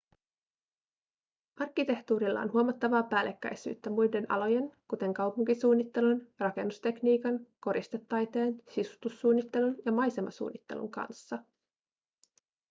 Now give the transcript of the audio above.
arkkitehtuurilla on huomattavaa päällekkäisyyttä muiden alojen kuten kaupunkisuunnittelun rakennustekniikan koristetaiteen sisustussuunnittelun ja maisemasuunnittelun kanssa